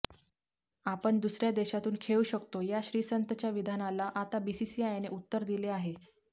आपण दुसऱ्या देशातून खेळू शकतो या श्रीसंतच्या विधानाला आता बीसीसीआयने उत्तर दिले आहे